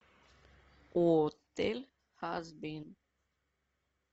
отель хазбин